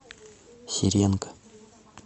сиренко